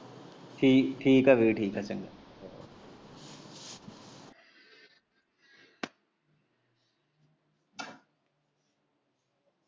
ਠੀਕ ਐ ਠੀਕ ਐ ਵੀਰ ਚੰਗਾ।